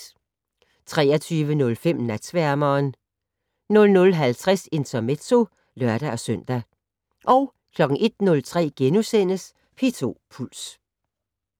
23:05: Natsværmeren 00:50: Intermezzo (lør-søn) 01:03: P2 Puls *